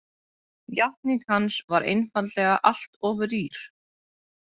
Játning hans var einfaldlega allt of rýr.